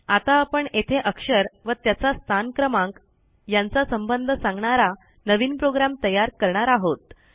आता आपण येथे अक्षर व त्याचा स्थानक्रमांक यांचा संबंध सांगणारा नवीन प्रोग्रॅम तयार करणार आहोत